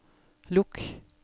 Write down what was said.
lukk